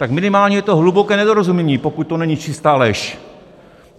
Tak minimálně je to hluboké nedorozumění, pokud to není čistá lež.